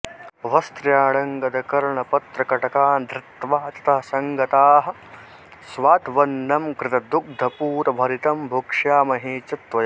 वस्त्राण्यङ्गदकर्णपत्रकटकान् धृत्वा ततः सङ्गताः स्वाद्वन्नं घृतदुग्धपूरभरितं भोक्ष्यामहे च त्वया